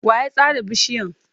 Wa ya sare bishiyan?